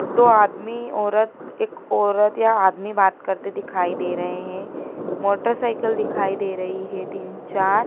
दो आदमी औरत एक औरत या आदमी बात करते दिखाई दे रहे हैं मोटरसाइकिल दिखाई दे रही है तीन चार--